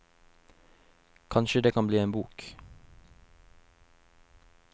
Kanskje det kan bli en bok.